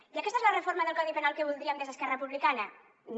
i aquesta és la reforma del codi penal que voldríem des d’esquerra republicana no